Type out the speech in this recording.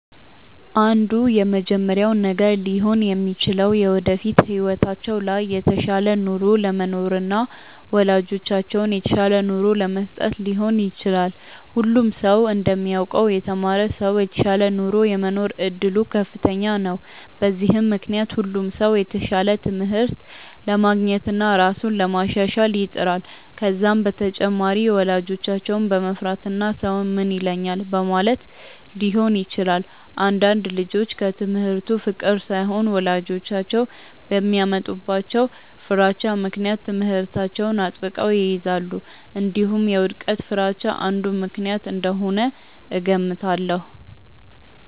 አንዱ የመጀመሪያው ነገር ሊሆን የሚችለው የወደፊት ህይወታቸው ላይ የተሻለ ኑሮ ለመኖርና ወላጆቻቸውን የተሻለ ኑሮ ለመስጠት ሊሆን ይችላል። ሁሉም ሰው እንደሚያውቀው የተማረ ሰው የተሻለ ኑሮ የመኖር እድሉ ከፍተኛ ነው። በዚህም ምክንያት ሁሉም ሰው የተሻለ ትምህርት ለማግኘትና ራሱን ለማሻሻል ይጥራል። ከዛም በተጨማሪ ወላጆቻቸውን በመፍራትና ሰው ምን ይለኛል በማለትም ሊሆን ይችላል። አንዳንድ ልጆች ከትምህርቱ ፍቅር ሳይሆን ወላጆቻቸው በሚያመጡባቸው ፍራቻ ምክንያት ትምህርታቸውን አጥብቀው ይይዛሉ። እንዲሁም የውድቀት ፍርሃቻ አንዱ ምክንያት እንደሆነ እገምታለሁ።